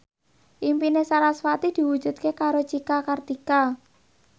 impine sarasvati diwujudke karo Cika Kartika